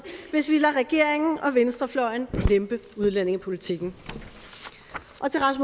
hvis vi lader regeringen og venstrefløjen lempe udlændingepolitikken